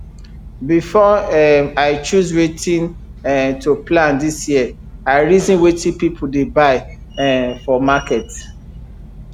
before um i choose wetin um to plant this year i reason wetin people dey buy um for market